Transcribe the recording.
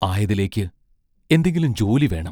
ആയതിലേക്ക് എന്തെങ്കിലും ജോലി വേണം.